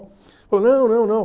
não, não, não.